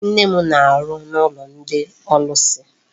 Nne m na-arụ n'ụlọ ndị ọlụsị.